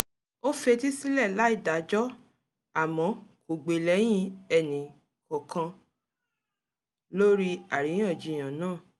ó fetí sílẹ̀ láì dájọ́ àmọ́ kò gbè lẹ́yìn enì kọọkan lórí àríyànjiyàn náà